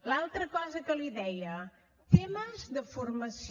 l’altra cosa que li deia temes de formació